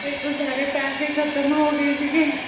ਮੇਰੇ ਸਾਰੇ ਪੈਸੇ ਖ਼ਤਮ ਹੋ ਗਏ ਸੀਗੇ